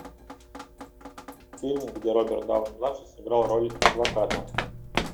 фильм где роберт дауни младший сыграл роль адвоката